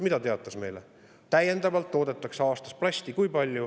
Kui palju toodetakse täiendavalt aastas plasti?